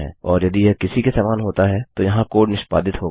और यदि यह किसी के समान होता है तो यहाँ कोड निष्पादित होगा